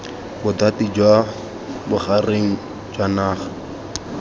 bothati jwa bogareng jwa naga